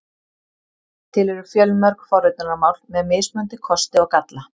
Til eru fjölmörg forritunarmál með mismunandi kosti og galla.